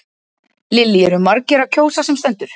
Lillý eru margir að kjósa sem stendur?